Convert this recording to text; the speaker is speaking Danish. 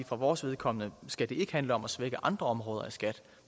for vores vedkommende skal det ikke handle om at svække andre områder af skat